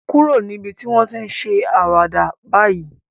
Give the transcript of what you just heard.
Kúrò níbi tí wọ́n ti ń ṣe àwàdà báyìí